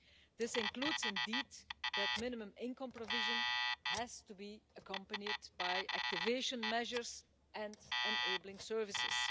This includes, indeed, that minimum income provision has to be accompanied by activation measures and enabling services.